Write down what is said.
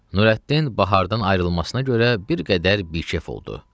Nurəddin bahardan ayrılmasına görə bir qədər bikəf oldu.